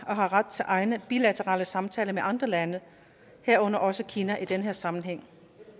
har ret til egne bilaterale samtaler med andre lande herunder også kina i den her sammenhæng